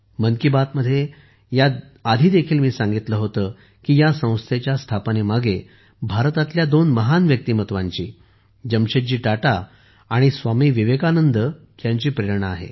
मन की बात मध्ये मी ह्या आधीही सांगितले होते की ह्या संस्थेच्या स्थापनेमागे भारतातील दोन महान व्यक्तिमत्वांची जमशेदजी टाटा आणि स्वामी विवेकानंदांची प्रेरणा आहे